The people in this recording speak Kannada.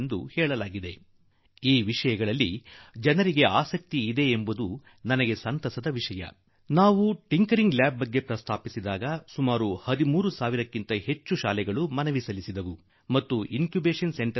ನಾನು ಖಿiಟಿಞeಡಿiಟಿg ಐಚಿb ಕುರಿತು ಹೇಳಿದಾಗ ಸುಮಾರು 13 ಸಾವಿರಕ್ಕೂ ಹೆಚ್ಚು ಶಾಲೆಗಳು ಅರ್ಜಿ ಸಲ್ಲಿಸಿದವು ಹಾಗೂ ನಾವು ಇನ್ ಕ್ಯೂಬೇಷನ್ ಸೆಂಟರ್ ಮಾತು ಹೇಳಿದಾಗ ನಾಲ್ಕು ಸಾವಿರಕ್ಕೂ ಹೆಚ್ಚು ಶೈಕ್ಷಣಿಕ ಮತ್ತು ಶೈಕ್ಷಣಿಕವಲ್ಲದ ಸಂಸ್ಥೆಗಳು ಇನ್ ಕ್ಯೂಬೇಷನ್